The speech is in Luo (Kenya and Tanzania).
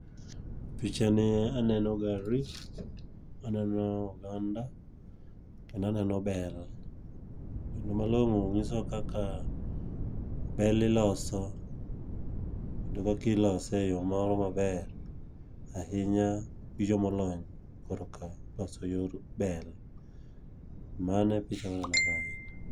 Picha nie aneno gari, aneno oganda, kendaneno bel. Gino malong'o ng'iso wa kaka bel iloso, kendo kakilose e yo moro maber ahinya gi jomolony korka loso yor bel. Mano e picha muneno kae.